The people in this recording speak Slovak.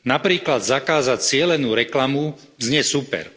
Napríklad zakázať cielenú reklamu znie super.